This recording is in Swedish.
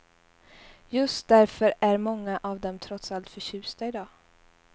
Just därför är många av dem trots allt förtjusta i dag.